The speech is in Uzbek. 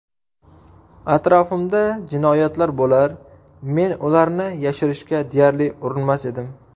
Atrofimda jinoyatlar bo‘lar, men ularni yashirishga deyarli urinmas edim.